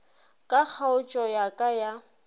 ka kgaotšo ya ka ya